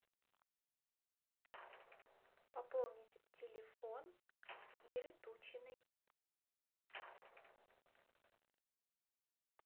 пополнить телефон иры тучиной